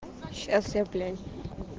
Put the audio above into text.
сейчас я бля